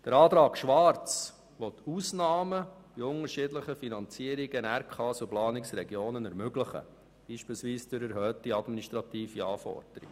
Der Antrag Schwarz will Ausnahmen bei unterschiedlichen Finanzierungen von Regionalkonferenzen und Planungsregionen ermöglichen, zum Beispiel durch erhöhte administrative Anforderungen.